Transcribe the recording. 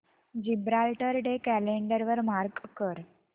Gibraltar day calendar वर mark कर